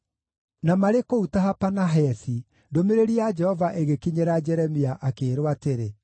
Na marĩ kũu Tahapanahesi, ndũmĩrĩri ya Jehova ĩgĩkinyĩra Jeremia, akĩĩrwo atĩrĩ: